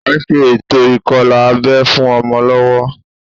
À ń ṣe ètò ìkọlà abẹ́ fún ọmọ lọ́wọ́